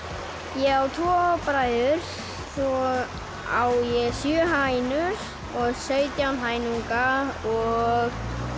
ég á tvö bræður svo á ég sjö hænur sautján hænuunga og